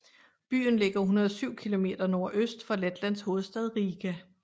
Byen ligger 107 kilometer nordøst for Letlands hovedstad Riga